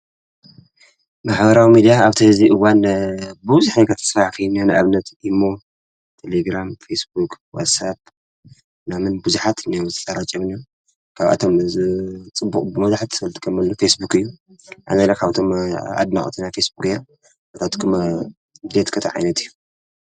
መሓበራዊ ሚዲያ ኣብቲ ዙይ እዋን ብዙኃይ ከተሥራሕ ፈይምያ ንኣብነት ኢሞ ፣ተሌግራም፣ ፌስቡቅ፣ ዋሳብ ፣ናምን ፣ብዙኃት ነወዝተረ ጨም ካብኣቶም ዝ ጽቡቕ ብመድኃት ሰልቲ ከመሉ ፊስቡኽ እዩ ንስካትኩም ካብቶም ኣድናቅትና ፌስቡኽ ር ኣታትኩም ድልየት እንታዓይነት እዩ?